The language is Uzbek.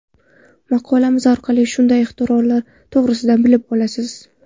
Maqolamiz orqali shunday ixtirolar to‘g‘risida bilib olasiz.